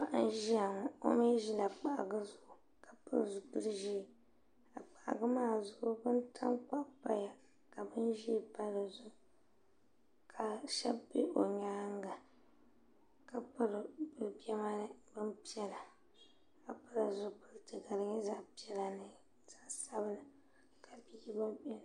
paɣa Zia ŋɔ omi zila kpahiku zuɣu ka pili zipil ʒiɛ ka kpahigu maa zuɣu ka bin tankpaɣu paya ka bin ʒɛɛ pa dizuɣu ka shɛb be o nyaanga ka piri be bemani bin piɛla ka pili zipiliti ka di nyɛ zaɣa piɛla n zaɣa dabila.